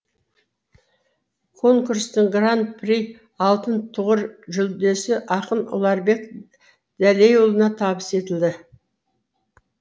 конкурстың гран при алтын тұғыр жүлдесі ақын ұларбек дәлейұлына табыс етілді